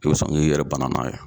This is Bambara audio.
I bɛ sɔn k'i yɛrɛ bana n'a ye.